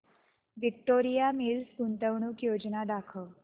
Victoria Mills गुंतवणूक योजना दाखव